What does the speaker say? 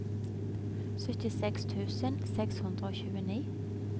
syttiseks tusen seks hundre og tjueni